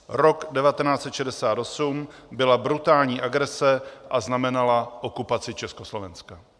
Rok 1968 byla brutální agrese a znamenala okupaci Československa."